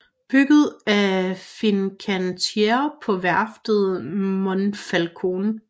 Bygget af Fincantieri på værftet i Monfalcone